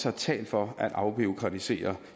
har talt for at afbureaukratisere